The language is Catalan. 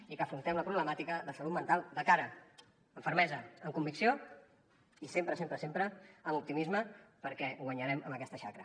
i que afrontem la problemàtica de salut mental de cara amb fermesa amb convicció i sempre sempre sempre amb optimisme perquè guanyarem aquesta xacra